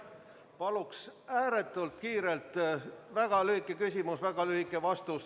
Paluks ääretult kiirelt väga lühike küsimus ja väga lühike vastus.